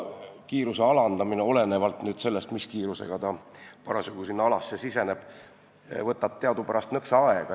Kiiruse alandamine võtab olenevalt sellest, mis kiirusega ta sinna alasse siseneb, teadupärast nõksa aega.